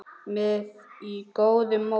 með góðu móti.